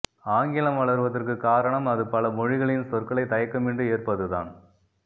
ஆங்கிலம் வளர்வதற்கு காரணம் அது பல மொழிகளின் சொற்களை தயக்கமின்றி ஏற்பதுதான்